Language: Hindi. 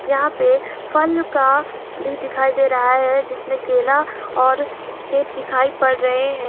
यहां पे फल का भी दिखाई दे रहा है जिसमें केला और सेब दिखाई पड़ रहे हैं।